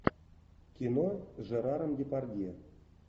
кино с жераром депардье